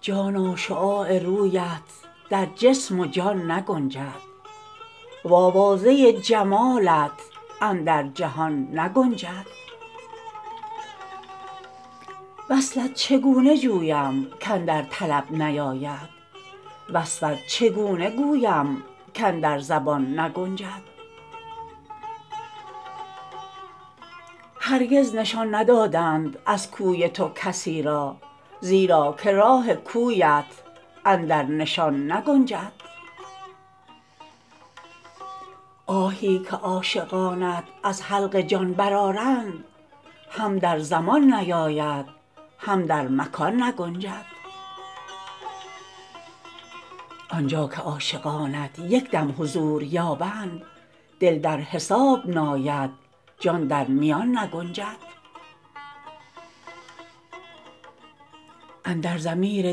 جانا شعاع رویت در جسم و جان نگنجد وآوازه جمالت اندر جهان نگنجد وصلت چگونه جویم کاندر طلب نیاید وصفت چگونه گویم کاندر زبان نگنجد هرگز نشان ندادند از کوی تو کسی را زیرا که راه کویت اندر نشان نگنجد آهی که عاشقانت از حلق جان برآرند هم در زمان نیاید هم در مکان نگنجد آن جا که عاشقانت یک دم حضور یابند دل در حساب ناید جان در میان نگنجد اندر ضمیر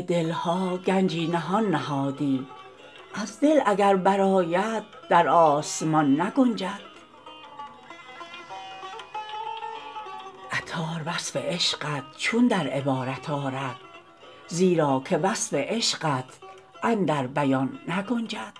دل ها گنجی نهان نهادی از دل اگر برآید در آسمان نگنجد عطار وصف عشقت چون در عبارت آرد زیرا که وصف عشقت اندر بیان نگنجد